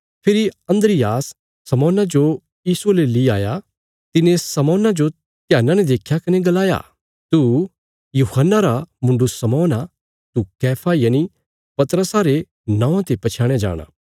फेरी अन्द्रियास शमौना जो यीशुये ले ली आया तिने शमौन्ना जो ध्यान्ना ने देख्या कने गलाया तू यूहन्ना रा मुण्डु शमौन आ तू कैफा यनि पतरस रे नौआं ते पछयाणया जाणा